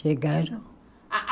Chegaram.